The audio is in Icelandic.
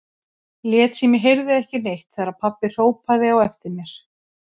Lét sem ég heyrði ekki neitt þegar pabbi hrópaði á eftir mér.